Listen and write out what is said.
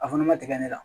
A fana ma tigɛ ne la